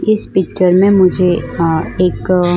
इस पिक्चर में मुझे एक --